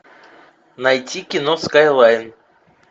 найти кино скайлайн